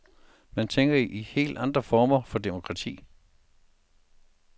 Man tænker i helt andre former for demokrati.